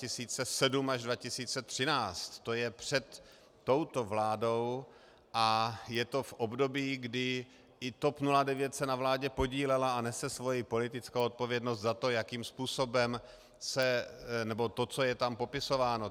To je před touto vládou a je to v období, kdy i TOP 09 se na vládě podílela a nese svou politickou odpovědnost za to, jakým způsobem se... nebo to, co je tam popisováno.